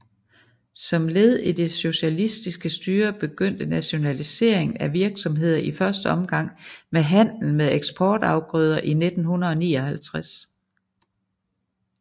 Som led i det socialistiske styre begyndte nationaliseringen af virksomheder i første omgang med handlen med eksportafgrøder i 1959